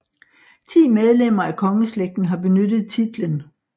Ti medlemmer af kongeslægten har benyttet titlen